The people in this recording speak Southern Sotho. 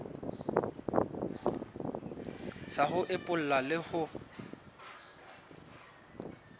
sa ho epolla le ho